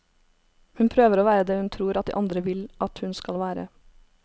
Hun prøver å være det hun tror at de andre vil at hun skal være.